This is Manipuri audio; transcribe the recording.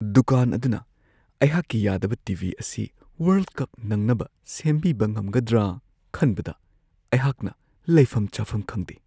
ꯗꯨꯀꯥꯟ ꯑꯗꯨꯅ ꯑꯩꯍꯥꯛꯀꯤ ꯌꯥꯗꯕ ꯇꯤ.ꯚꯤ. ꯑꯁꯤ ꯋꯔꯜꯗ ꯀꯞ ꯅꯪꯅꯕ ꯁꯦꯝꯕꯤꯕ ꯉꯝꯒꯗ꯭ꯔꯥ ꯈꯟꯕꯗ ꯑꯩꯍꯥꯛꯅ ꯂꯩꯐꯝ-ꯆꯥꯐꯝ ꯈꯪꯗꯦ ꯫